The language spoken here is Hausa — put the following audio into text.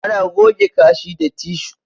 Ana goge kashi da tishu